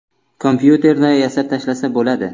Kompyuterda yasab tashlasa bo‘ladi.